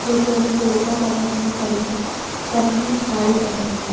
जो कि अभी दुर्गा फॉर्मेशन में खड़ी है सबने साड़ी पहनी हुई है।